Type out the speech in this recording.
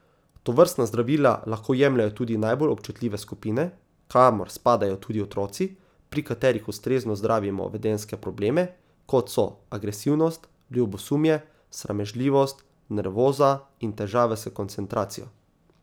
Tovrstna zdravila lahko jemljejo tudi najbolj občutljive skupine, kamor spadajo tudi otroci, pri katerih ustrezno zdravimo vedenjske probleme, kot so agresivnost, ljubosumje, sramežljivost, nervoza in težave s koncentracijo.